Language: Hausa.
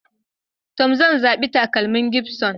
To, zan zabi takalmin gibson.